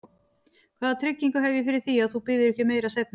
Hvaða tryggingu hef ég fyrir því, að þú biðjir ekki um meira seinna?